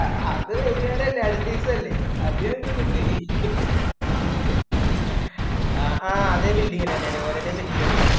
അത് വൈന്നേരല്ലേ അത് ഞങ്ങൾക്കിട്ടും ആഹാ അതേ building ന് അല്ല വേറെ എതേം set ചെയ്ത് കൊടക്കാട്ടെ